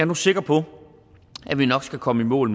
nu sikker på at vi nok skal komme i mål